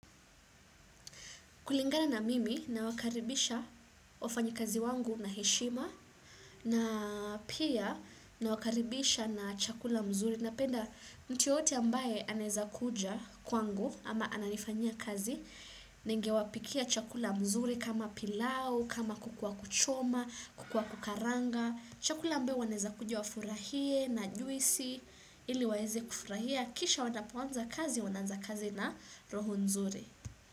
Kulingana na mimi na wakaribisha wafanyi kazi wangu na heshima na pia na wakaribisha na chakula mzuri. Napenda mtu yeyote ambaye anaweza kuja kwangu ama ananifanya kazi, ninge wapikia chakula mzuri kama pilau, kama kuku wa kuchoma, kuku wa kukaranga. Chakula ambao wanaweza kuja wafurahie na juisi ili waeze kufurahia. Kisha wanapoanza kazi wanaanza kazi na roho nzuri.